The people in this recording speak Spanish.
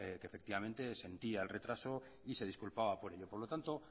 que efectivamente sentía el retraso y de disculpaba por ello por lo tanto